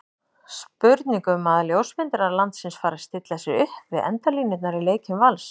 Spurning um að ljósmyndarar landsins fari að stilla sér upp við endalínurnar í leikjum Vals?